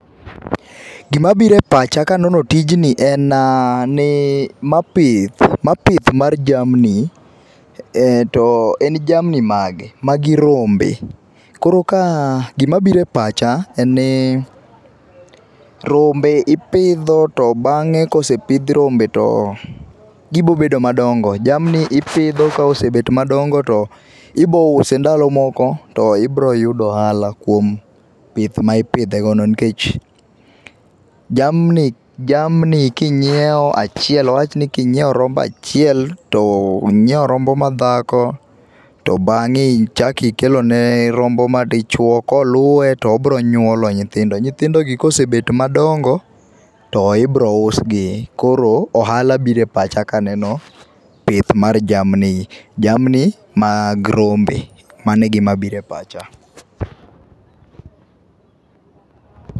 Gima biro e pach akanono tijni en ni ma pith, ma pith mar jamni to en jamni mage, magi rombe, koro ka gima biro e pacha en ni rombe ipidho to bange kosepidh rombe to gibo bedo madongo, jamni ipidho to kosebet madongo to ibo use ndalo moko to ibro yudo ohala kuom pith ma ipidhe go no nikech jamni, jamni kinyiew achiel, awach ni kinyiew rombo achiel to inyiew rombo madhako to bange ichaki kelone rombo madichuo koluwe to obro nyuolo nyithindo. Nyithindo gi kosebet madongo to ibro usgi koro ohala biro e pacha kaneno pith mar jamni, jamni mag rombe, mano egima biro e pacha.